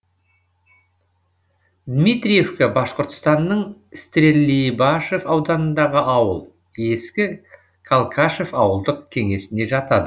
дмитриевка башқұртстанның стерлибашев ауданындағы ауыл ескі калкашев ауылдық кеңесіне жатады